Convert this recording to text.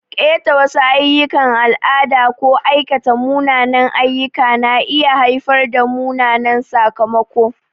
Ƙeta wasu ayyukan al'ada ko aikata munanan ayyuka na iya haifar da mummunan sakamako.